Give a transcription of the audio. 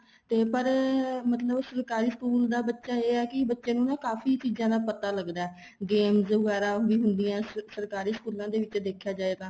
ਤੇ ਪਰ ਮਤਲਬ ਸਰਕਾਰੀ school ਚ ਦਾ ਬੱਚਾ ਇਹ ਹੈ ਕੀ ਬੱਚੇ ਨੂੰ ਨਾ ਕਾਫ਼ੀ ਚੀਜ਼ਾਂ ਦਾ ਪਤਾ ਲੱਗਦਾ ਏ games ਵਗੈਰਾ ਵੀ ਹੁੰਦੀਆਂ ਏ ਸਰਾਕਰੀ ਸਕੂਲਾਂ ਦੇ ਵਿੱਚ ਦੇਖਿਆ ਜਾਏ ਤਾਂ